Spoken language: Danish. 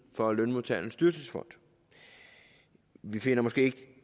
for lønmodtagernes dyrtidsfond vi finder måske ikke